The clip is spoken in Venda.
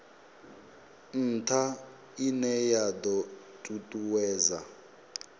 ntha ine ya do tutuwedza